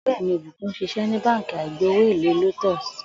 Ò̩ré̩ mi Ìbùkún ń s̩is̩é̩ ní Báǹkì àìgbowó-èlé Lotus